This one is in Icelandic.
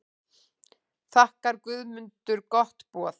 Þakkaði Guðmundur gott boð.